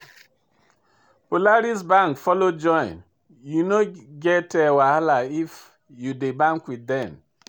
Polaris bank follow join; you no get wahala if you dey bank with dem.